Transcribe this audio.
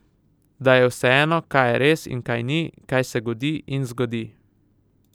Da je vseeno, kaj je res in kaj ni, kaj se godi in zgodi?